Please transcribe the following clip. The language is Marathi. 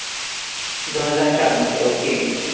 दोन हजार चारमधे. okay.